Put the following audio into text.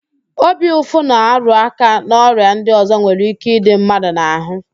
Obi ụfụ na-arụáká n'ọrịa ndị ọzọ nwere íké ịdị mmadụ n'ahụ